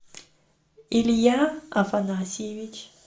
илья афанасьевич